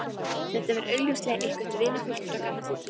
Þetta var augljóslega eitthvert vinafólk frá gamalli tíð.